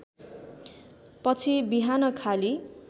पछि बिहान खाली